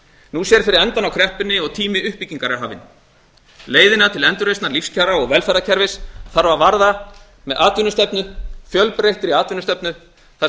nú sér fyrir endann á kreppunni og tími uppbyggingar er hafinn leiðina til endurreisnar lífskjara og velferðarkerfis þarf að varða með atvinnustefnu fjölbreyttri atvinnustefnu þar